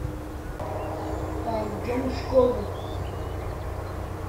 пойдем в школу